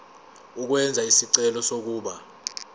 ukwenza isicelo sokuba